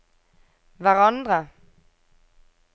hverandre